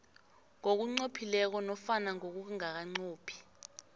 ngokunqophileko nofana ngokungakanqophi